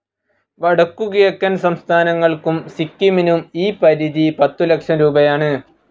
വടക്കുകിഴക്കൻ സംസ്ഥാനങ്ങൾക്കും സിക്കിമിനും ഈ പരിധി പത്തുലക്ഷംരൂപയാണ്.